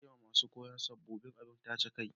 Na siya ma masun koyo sabobin abun taje kai.